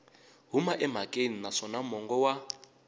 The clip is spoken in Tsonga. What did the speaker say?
huma emhakeni naswona mongo wa